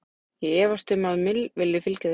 Ég efast um að Mill fylgi þeim þar.